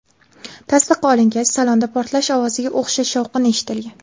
Tasdiq olingach, salonda portlash ovoziga o‘xshash shovqin eshitilgan.